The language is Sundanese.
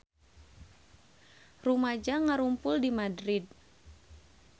Rumaja ngarumpul di Madrid